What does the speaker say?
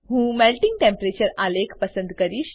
હું melting temperature આલેખ પસંદ કરીશ